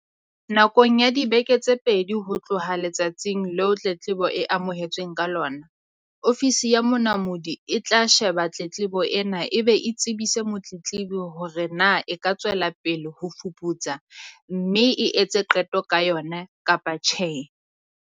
"Nakong ya dibeke tse pedi ho tloha letsatsing leo tletlebo e amohetsweng ka lona, Ofisi ya Monamodi e tla sheba tletlebo ena e be e tsebise motletlebi hore na e ka tswela pele ho e fuputsa mme e etse qeto ka yona, kapa tjhe."